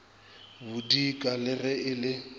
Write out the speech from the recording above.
bodika le ge e le